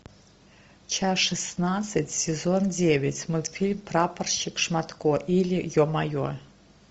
часть шестнадцать сезон девять мультфильм прапорщик шматко или е мое